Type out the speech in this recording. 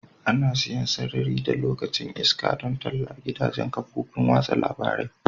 Ana siyan sarari da lokacin iska don talla a gidajen kafofin watsa labarai.